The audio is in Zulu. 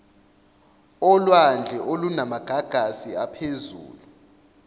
olwandle olunamagagasi aphezulu